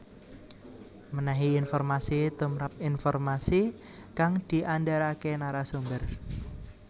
Mènèhi informasi tumrap informasi kang diandharaké narasumber